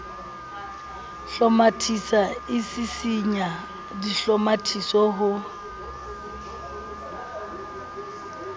hlomathisa e sisinya dihlomathiso ho